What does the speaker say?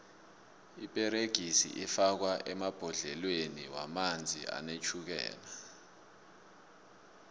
iperegisi ifakwo emabhodleleni womanzi anetjhukela